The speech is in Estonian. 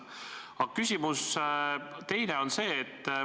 Teine küsimus on see.